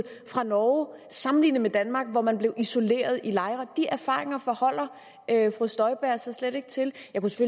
fra norge sammenlignet med danmark hvor man blev isoleret i lejre de erfaringer forholder fru støjberg sig slet ikke til